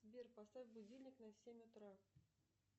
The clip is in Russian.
сбер поставь будильник на семь утра